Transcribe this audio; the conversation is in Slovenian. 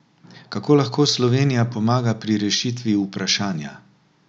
Kako lahko Slovenija pomaga pri rešitvi vprašanja?